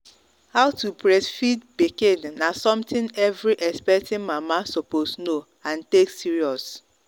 how to breastfeed pikin na something every expecting mama suppose know and and take serious.